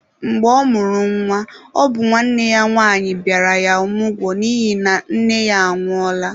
Mgbe ọ mụrụ nwa, ọ bụ nwanne ya nwanyi bịara ya ọmụgwọ n'ihi na nne ya anwụọla.